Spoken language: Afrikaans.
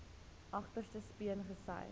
agterste speen gesuig